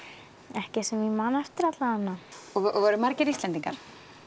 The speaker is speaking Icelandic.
ekki sem ég man eftir allavega voru margir Íslendingar